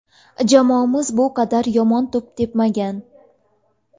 Jamoamiz bu qadar yomon to‘p tepmagan.